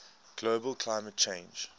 global climate change